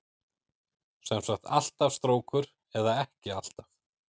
Sem sagt alltaf strókur eða ekki alltaf?